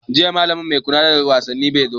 Jiya malami mai kula da wasaanni bai zo ba.